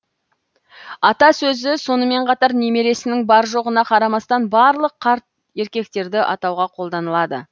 ата сөзі сонымен қатар немересінің бар жоғына қарамастан барлық қарт еркектерді атауға қолданылады